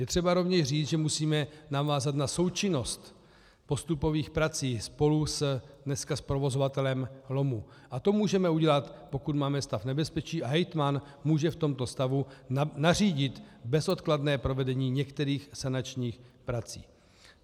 Je třeba rovněž říct, že musíme navázat na součinnost postupových prací spolu dneska s provozovatelem lomu a to můžeme udělat, pokud máme stav nebezpečí, a hejtman může v tomto stavu nařídit bezodkladné provedení některých sanačních prací.